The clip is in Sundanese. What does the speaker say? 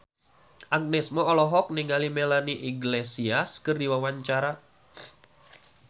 Agnes Mo olohok ningali Melanie Iglesias keur diwawancara